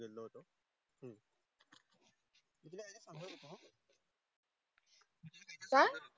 काय?